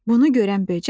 Bunu görən böcək dedi.